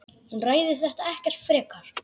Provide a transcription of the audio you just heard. Hún ræðir þetta ekkert frekar.